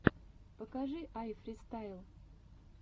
покажи айфристайл